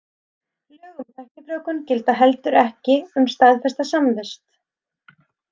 Lög um tæknifrjóvgun gilda heldur ekki um staðfesta samvist.